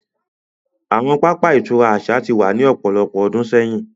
Awọn pápá ìturá aṣa ti wa ni ọpọlọpọ ọdun sẹyin.